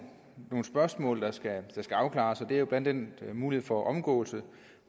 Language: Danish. spørgsmål der skal afklares det er blandt andet en mulighed for omgåelse